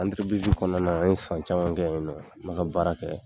kɔnɔna na an ye san caman kɛ yen nɔ, an bɛ ka baara kɛ.